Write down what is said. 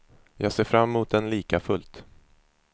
Jag ser fram emot den likafullt.